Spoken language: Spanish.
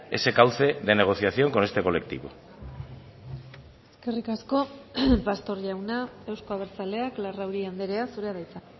ese cauce de negociación con este colectivo eskerrik asko pastor jauna euzko abertzaleak larrauri andrea zurea da hitza